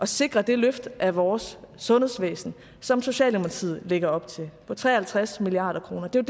sikre det løft af vores sundhedsvæsen som socialdemokratiet lægger op til på tre og halvtreds milliard kroner det er